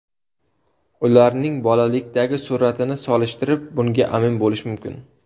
Ularning bolalikdagi suratini solishtirib, bunga amin bo‘lish mumkin.